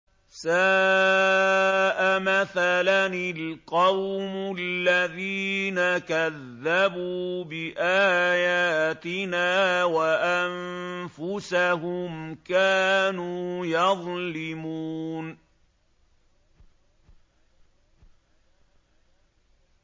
سَاءَ مَثَلًا الْقَوْمُ الَّذِينَ كَذَّبُوا بِآيَاتِنَا وَأَنفُسَهُمْ كَانُوا يَظْلِمُونَ